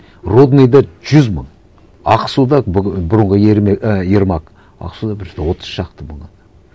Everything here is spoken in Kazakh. рудныйда жүз мың ақсуда бұрынғы і ермак ақсуда бір отыз шақты мың адам